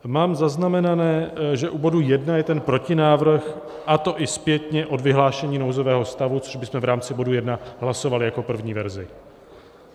Mám zaznamenané, že u bodu 1 je ten protinávrh, a to i zpětně od vyhlášení nouzového stavu, což bychom v rámci bodu 1 hlasovali jako první verzi.